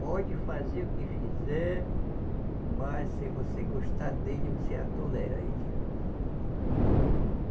Pode fazer o que fizer, mas se você gostar dele, você atolera ele.